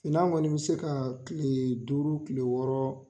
Finan kɔni i bɛ se ka kile duuru kile wɔɔrɔ.